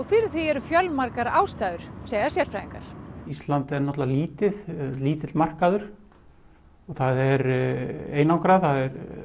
fyrir því eru fjölmargar ástæður segja sérfræðingar ísland er náttúrulega lítið lítill markaður það er einangrað það